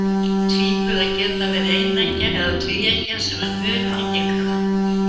Tvíburar geta verið eineggja eða tvíeggja, sem er mun algengara.